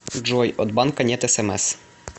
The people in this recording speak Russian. джой от банка нет смс